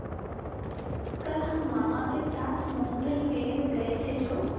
कल हम मामा के साथ मूँगफली मेले में गए थे जो